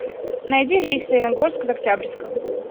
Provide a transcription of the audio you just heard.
найди рейс в саяногорск из октябрьского